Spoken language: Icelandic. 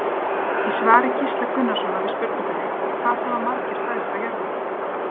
Í svari Gísla Gunnarssonar við spurningunni Hvað hafa margir fæðst á jörðinni?